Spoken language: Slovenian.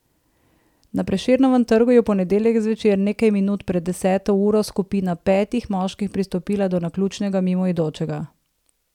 Na Prešernovem trgu je v ponedeljek zvečer, nekaj minut pred deseto uro, skupina petih moških pristopila do naključnega mimoidočega.